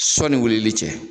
Sɔni wulili cɛ